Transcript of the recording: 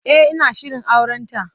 E, ina shirin aurenta.